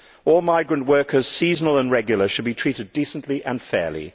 All migrant workers, seasonal and regular, should be treated decently and fairly.